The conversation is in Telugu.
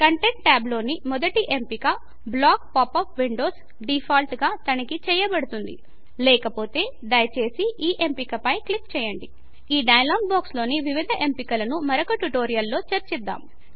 కంటెంట్ ట్యాబు లోని మొదటి ఎంపిక block pop up windows default గా తనిఖి చేయబడుతుంది లేకపోతే దయచేసి ఈ ఎంపిక పై క్లిక్ చేయండి ఈ డైలాగ్ బాక్స్ లోని వివిధ ఎంపికలను మరొక ట్యుటోరియల్ లో చేర్చిద్దాం